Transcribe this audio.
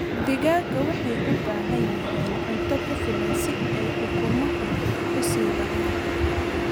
Digaagga waxay u baahan yihiin cunto ku filan si ay ukumaha u sii wadaan.